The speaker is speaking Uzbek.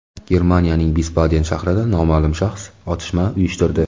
Germaniyaning Visbaden shahrida noma’lum shaxs otishma uyushtirdi.